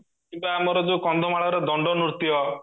କିମ୍ବା ଆମର ଯୋଉ କନ୍ଧମାଳର ଦଣ୍ଡ ନୃତ୍ୟ